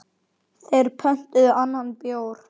Þeir pöntuðu annan bjór.